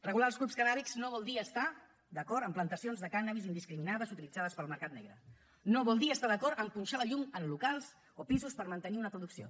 regular els clubs cannàbics no vol dir estar d’acord amb plantacions de cànnabis indiscriminades utilitzades pel mercat negre no vol dir estar d’acord amb punxar la llum en locals o pisos per mantenir una producció